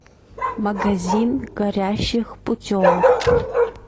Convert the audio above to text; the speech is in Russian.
магазин горящих путевок